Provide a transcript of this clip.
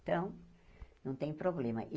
Então, não tem problema.